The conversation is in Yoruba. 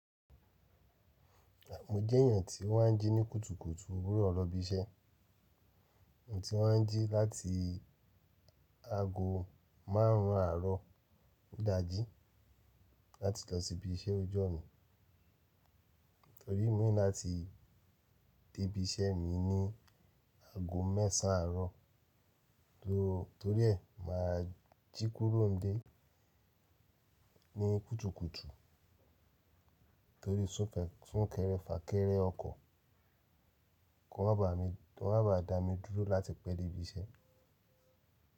Mo jẹ́ èèyàn tí wọ́n ń jí ní kùtùkùtù òwúrọ̀ lọ́ bí iṣẹ́. Tí wọ́n ń jí láti ago márùn-ún àárọ̀ ní idàjí láti lọ sí ibi iṣẹ́ ọjọ́ mi. Torí mó níláti dé ibi iṣẹ́ mi ní ago mẹ́sàn àárọ̀, torí ẹ, màá jí kúrò nílè ní kùtùkùtù torí sún kẹrẹ fà kẹrẹ ọkọ̀ kò má bàá dà mí dúró láti pẹ́ dé ibi iṣẹ́.